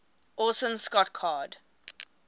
orson scott card